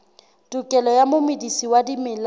tokelo ya momedisi wa dimela